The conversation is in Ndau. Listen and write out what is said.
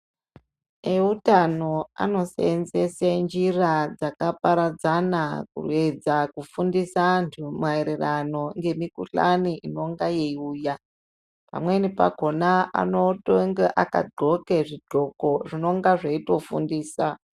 Eutano anosenzesa njira dzakaparadzana kuenda kufundisa antu mayererano nemikhuhlane inenge yeiuya. Pamweni pakona anonga akadxoka zvidxoko zvinonga zveitofundisa.